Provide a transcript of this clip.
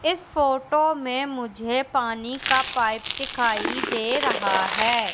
इस फोटो मे मुझे पानी का पाइप दिखाई दे रहा है।